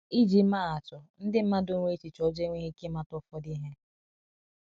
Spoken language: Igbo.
ịjị maa atụ, ndi madụ nwere echiche ojoo nwereghi ike ịmata ụfọdụ ihe.